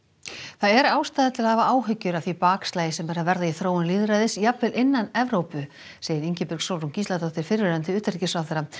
það er ástæða til að hafa áhyggjur af því bakslagi sem er að verða í þróun lýðræðis jafnvel innan Evrópu segir Ingibjörg Sólrún Gísladóttir fyrrverandi utanríkisráðherra